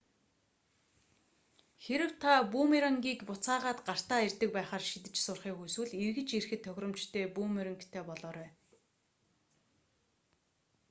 хэрэв та бүүмерангийг буцаагаад гартаа ирдэг байхаар шидэж сурахыг хүсвэл эргэж ирэхэд тохиромжтой бүүмерангтай болоорой